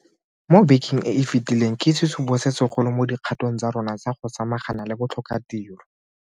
mo bekeng e e fetileng ke sesupo se segolo mo dikgatong tsa rona tsa go samagana le botlhokatiro.